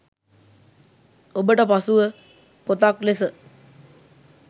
ඔබට පසුව පොතක් ලෙස